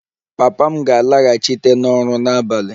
Papa m ga-alaghachite n'ọrụ n'abalị